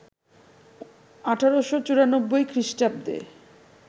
১৮৯৪ খ্রিস্টাব্দে